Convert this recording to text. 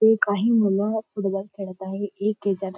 इथे काही मूल फुटबॉल खेळत आहे एक जण--